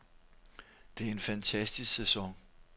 Det er en fantastisk sæson.